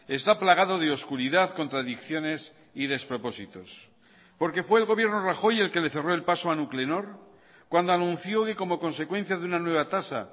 está plagado de oscuridad contradicciones y despropósitos porque fue el gobierno rajoy el que le cerró el paso a nuclenor cuando anunció que como consecuencia de una nueva tasa